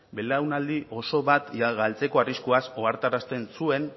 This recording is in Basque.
belaunaldi oso bat galtzeko arriskuaz ohartarazten zuen